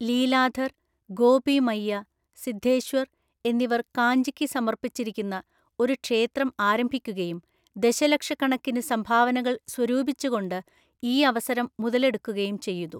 ലീലാധർ, ഗോപി മയ്യ, സിദ്ധേശ്വർ എന്നിവർ കാഞ്ചിയ്ക്ക് സമർപ്പിച്ചിരിക്കുന്ന ഒരു ക്ഷേത്രം ആരംഭിക്കുകയും ദശലക്ഷക്കണക്കിന് സംഭാവനകൾ സ്വരൂപിച്ചുകൊണ്ട് ഈ അവസരം മുതലെടുക്കുകയും ചെയ്തു.